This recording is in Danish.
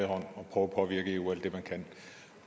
og